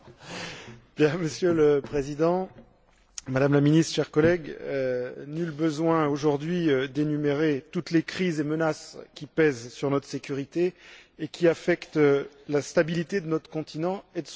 Monsieur le Président, Madame la ministre, chers collègues, nul besoin aujourd'hui d'énumérer toutes les crises et menaces qui pèsent sur notre sécurité et qui affectent la stabilité de notre continent et de son voisinage.